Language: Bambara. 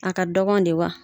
A ka dɔgɔn de wa